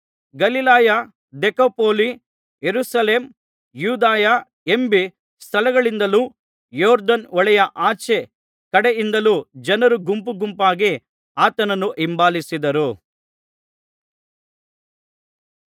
ಗಲಿಲಾಯ ದೆಕಪೊಲಿ ಯೆರೂಸಲೇಮ್ ಯೂದಾಯ ಎಂಬೀ ಸ್ಥಳಗಳಿಂದಲೂ ಯೊರ್ದನ್ ಹೊಳೆಯ ಆಚೇ ಕಡೆಯಿಂದಲೂ ಜನರು ಗುಂಪುಗುಂಪಾಗಿ ಆತನನ್ನು ಹಿಂಬಾಲಿಸಿದರು